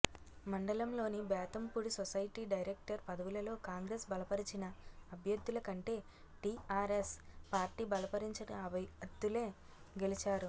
మండలంలోని Bethampudi society director పదవులలో కాంగ్రెస్ బలపరిచిన అభ్యర్థుల కంటే టీఆర్ఎస్ పార్టీ బలపరిచిన అభ్యర్థులే గెలిచారు